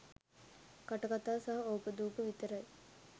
කටකතා සහ ඕපාදුප විතරයි.